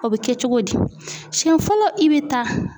O bɛ kɛ cogo di siɲɛ fɔlɔ i bi taa.